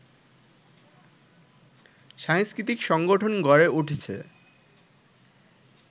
সাংস্কৃতিক সংগঠন গড়ে উঠেছে